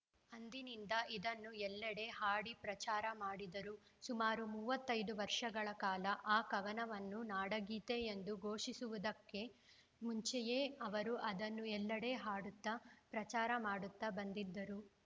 ಅಂದಿನಿಂದ ಇದನ್ನು ಎಲ್ಲೆಡೆ ಹಾಡಿ ಪ್ರಚಾರ ಮಾಡಿದರು ಸುಮಾರು ಮೂವತ್ತೈದು ವರ್ಷಗಳ ಕಾಲ ಆ ಕವನವನ್ನು ನಾಡಗೀತೆ ಎಂದು ಘೋಷಿಸುವುದಕ್ಕೆ ಮುಂಚೆಯೇ ಅವರು ಅದನ್ನು ಎಲ್ಲೆಡೆ ಹಾಡುತ್ತ ಪ್ರಚಾರ ಮಾಡುತ್ತಾ ಬಂದಿದ್ದರು